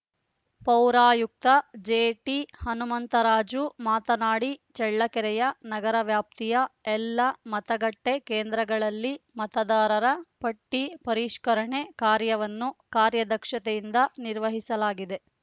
ಪೌರಾಯುಕ್ತ ಜೆಟಿಹನುಮಂತರಾಜು ಮಾತನಾಡಿ ಚಳ್ಳಕೆರೆಯ ನಗರ ವ್ಯಾಪ್ತಿಯ ಎಲ್ಲ ಮತಗಟ್ಟೆಕೇಂದ್ರಗಳಲ್ಲಿ ಮತದಾರರ ಪಟ್ಟಿಪರಿಷ್ಕರಣೆ ಕಾರ್ಯವನ್ನು ಕಾರ್ಯದಕ್ಷತೆಯಿಂದ ನಿರ್ವಹಿಸಲಾಗಿದೆ